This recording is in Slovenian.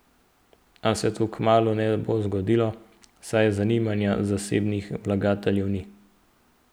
A se to kmalu ne bo zgodilo, saj zanimanja zasebnih vlagateljev ni.